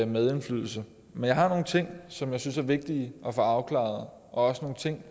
medindflydelse men jeg har nogle ting som jeg synes er vigtige at få afklaret og også nogle ting